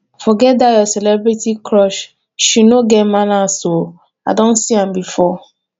forget dat your celebrity crush she no get manners oo i don see am before